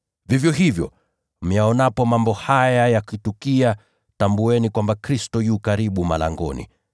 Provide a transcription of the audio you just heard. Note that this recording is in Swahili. Vivyo hivyo, myaonapo mambo haya yakitukia, mnatambua kwamba wakati u karibu, hata malangoni.